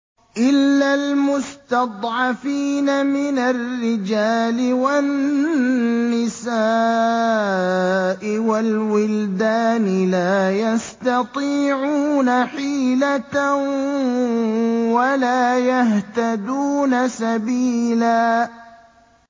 إِلَّا الْمُسْتَضْعَفِينَ مِنَ الرِّجَالِ وَالنِّسَاءِ وَالْوِلْدَانِ لَا يَسْتَطِيعُونَ حِيلَةً وَلَا يَهْتَدُونَ سَبِيلًا